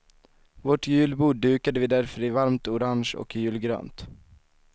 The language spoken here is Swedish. Vårt julbord dukade vi därför i varmt orange och julgrönt.